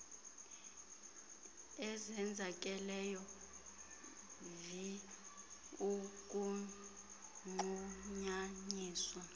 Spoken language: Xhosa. ezenzakeleyo vi ukunqunyanyiswa